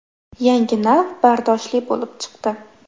Yangi nav bardoshli bo‘lib chiqdi.